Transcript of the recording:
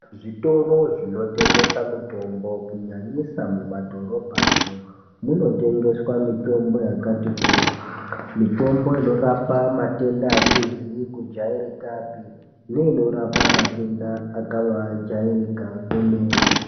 Zvitoro zvinotengesa mitombo kunyanyisa kumadhorobhamwo munotengeswa mitombo yakati kuti. Mitombo inorapa matenda asizi kujairikapi neinorapa matenda akabaajairika kwemene.